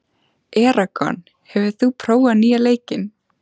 Eragon, hefur þú prófað nýja leikinn?